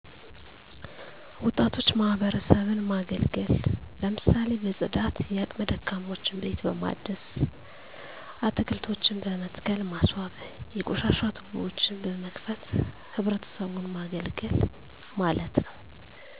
ወጣቶች ማህበረሰብን ማገልገል ለምሳሌ በፅዳት የአቅመ ደካሞችን ቤት በማደስ አትልቶችን በመትከል ማስዋብ የቆሻሻ ቱቦዎችን በመክፈት ህብረተሰቡን ማገልገል ማለት ነዉ